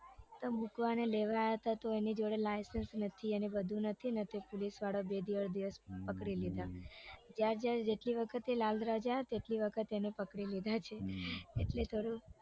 તો મુકવા ને લેવા આયા તા તો એની જોડે લાઇસન્સ નથી ને બધું નથી તે પુલિસવાળા બે દિવસ પકડી લીધા જેટલી વખત લાલ દરવાજા આયાને તેટલી વખત પુલિસવાળા એ પકડી લીધા છે એટલે થોડું